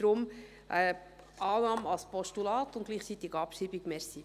Deshalb: Annahme als Postulat und gleichzeitig Abschreibung.